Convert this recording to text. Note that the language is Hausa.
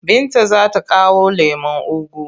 Binta za ta kawo lemon ugu.